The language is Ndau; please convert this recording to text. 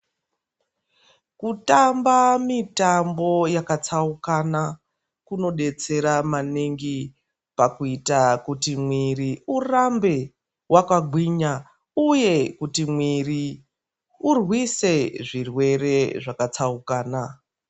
Kutamba mitambo yakatsaukana, kunodetsera maningi, pakuita kuti mwiri urambe wakagwinya, uye kuti mwiri urwise zvirwere zvakatsaukana.